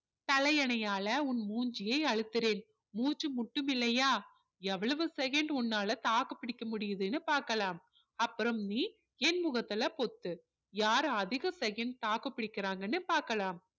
தலையணையால உன் முஞ்சியை அழுத்துறேன் மூச்சு முட்டும் இல்லையா எவ்வளவு second உன்னால தாக்கு பிடிக்க முடியுதுன்னு பார்க்கலாம் அப்பறம் நீ என் முகத்துல பொத்து யார் அதிக second தாக்கு பிடிக்கிறாங்கன்னு பார்க்கலாம்